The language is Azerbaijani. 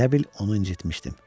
Elə bil onu incitmişdim.